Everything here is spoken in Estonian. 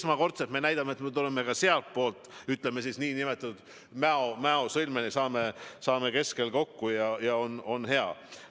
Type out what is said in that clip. Esmakordselt me näitame, et me tuleme ka sealtpoolt nn Mäo sõlmeni, saame keskel kokku ja on hea.